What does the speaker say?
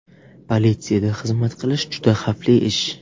Politsiyada xizmat qilish juda xavfli ish.